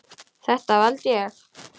Þetta valdi ég.